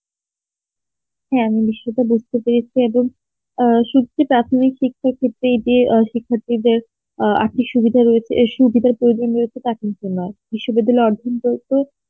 হ্যাঁ আমি সেটা বুজতে পেরেছি এবং অ্যাঁসুনছি প্রাথমিক শিক্ষার খ্ত্ত্রেই যে শিক্ষাত্রি দের আর্থিক সুবিধা রয়েছে সুবিধার প্রয়োজন রয়েছে টা কিন্তু নয় বিশ্ববিদ্যালয়